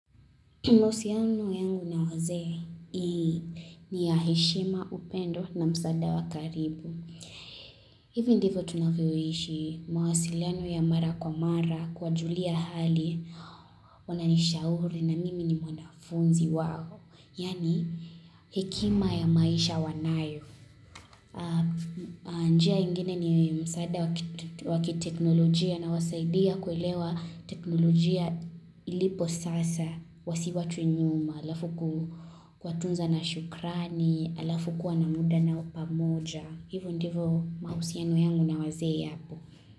Mahusiano yangu na wazee ni ya heshima upendo na msaada wa karibu. Hivi ndivo tunavyoishi mawasiliano ya mara kwa mara kuwajulia hali wananishauri na mimi ni mwanafunzi wao. Yaani hekima ya maisha wanayo. Njia ingine ni msaada wakiteknolojia nawasaidia kuelewa teknolojia ilipo sasa. Wasiwachwe nyuma, alafu kuwatunza na shukrani, alafu kuwa na muda nao pamoja Hivo ndivo mahusiano yangu na wazee yapo.